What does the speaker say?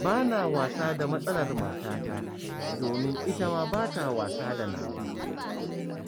Ba na wasa da matsalar matata, domin ita ma ba ta wasa da nawa.